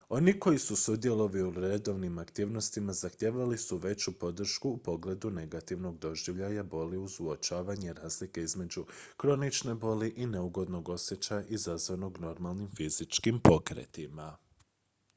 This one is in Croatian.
oni koji su sudjelovali u redovnim aktivnostima zahtijevali su veću podršku u pogledu negativnog doživljaja boli uz uočavanje razlike između kronične boli i neugodnog osjećaja izazvanog normalnim fizičkim pokretima